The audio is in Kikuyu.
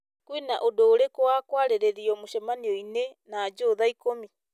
kwĩna ũndũ ũrĩkũ wa kwarĩrĩrio mũcemanio -inĩ na joe thaa ikũmi